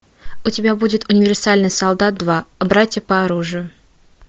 у тебя будет универсальный солдат два братья по оружию